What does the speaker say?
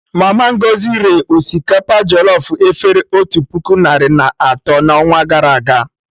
Mama Ngozi ree osikapa jọlọf efere otu puku narị na atọ na ọnwa gara aga